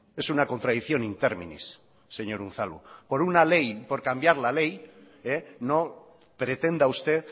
es una contradicción in terminis señor unzalu por una ley por cambiar la ley no pretenda usted